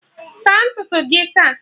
Saa ntutu gị taa